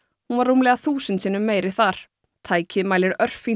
hún var rúmlega þúsund sinnum meiri þar tækið mælir